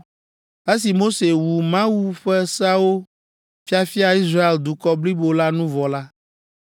Esi Mose wu Mawu ƒe seawo fiafia Israel dukɔ blibo la nu vɔ la,